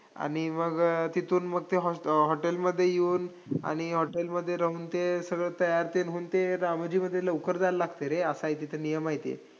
आणि मग तिथून मग ते host hotel मध्ये येऊन आणि hotel मध्ये राहून ते सगळं तयार तेन होऊन ते रामोजीमध्ये लवकर जायला लागतंय रे, असंय तिथं नियम आहे ते.